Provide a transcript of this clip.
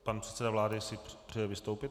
Pan předseda vlády si přeje vystoupit.